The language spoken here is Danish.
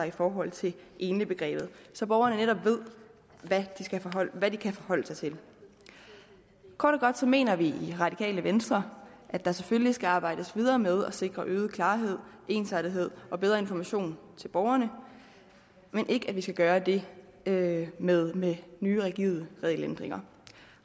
i forhold til enligbegrebet så borgerne netop ved hvad de kan forholde sig til kort og godt mener vi i radikale venstre at der selvfølgelig skal arbejdes videre med at sikre øget klarhed ensartethed og bedre information til borgerne men ikke at vi skal gøre det det med med nye rigide regelændringer